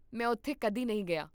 ਮੈਂ ਉੱਥੇ ਕਦੇ ਨਹੀਂ ਗਿਆ